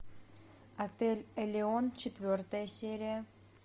отель элеон четвертая серия